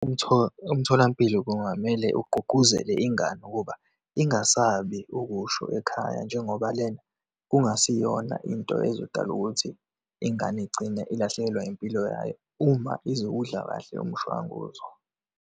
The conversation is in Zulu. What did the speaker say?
Umtholampilo kungamele ugqugquzele ingane ukuba ingasabi ukusho ekhaya, njengoba lena kungasiyona into ezodala ukuthi ingane igcine ilahlekelwa impilo yayo uma izowudla kahle umshwanguzo.